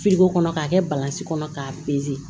kɔnɔ k'a kɛ kɔnɔ k'a